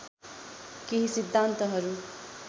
केही सिद्धान्तहरु